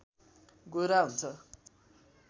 गोरा हुुन्छ